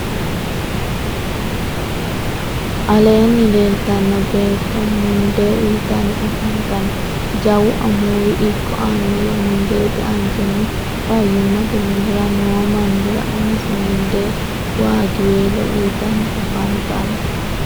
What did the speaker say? aleenni leelitanno beetto mundee uyitanni afantanno. jawu amuuwi ikko annuwu mundeete anjenni fayyimate minnara noo mannira umise mundee waagiwelo uyitanni afantanno.